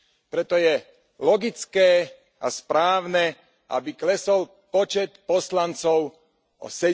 Preto je logické a správne, aby klesol počet poslancov o